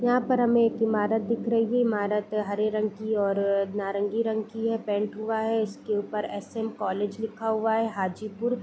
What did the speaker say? यहां पर हमें एक इमारत दिख रही है इमारत हरे रंग की और नारंगी रंग की है पेंट हुआ है इसके ऊपर एस.एम. कॉलेज लिखा हुआ है हाजीपुर।